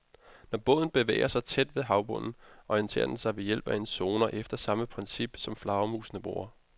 Når båden bevæger sig tæt ved havbunden, orienterer den sig ved hjælp af en sonar efter samme princip, som flagermusene bruger.